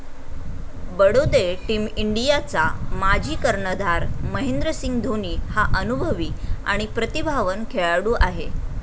Badode team इंडियाचा माजी कर्णधार महेंद्रसिंग धोनी हा अनुभवी आणि प्रतिभावान खेळाडू आहे.